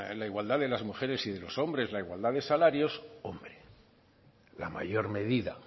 la igualdad de las mujeres y de los hombres la igualdad de salarios hombre la mayor medida